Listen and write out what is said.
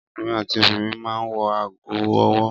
Ọkùnrin àti obìnrin máa ń wọ ago-ọwọ́.